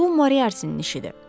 Bu Moriartinin işidir.